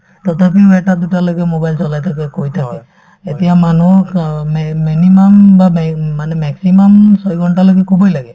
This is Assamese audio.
তথাপিও এটা দুটা লৈকে mobile চলাই থাকে থাকে এতিয়া মানুহ ক অ meme minimum বা me মানে maximum ছয় ঘণ্টালৈকে শুবই লাগে